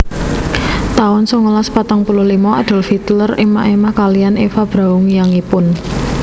taun songolas patang puluh limo Adolf Hitler émah émah kaliyan Eva Braun yangipun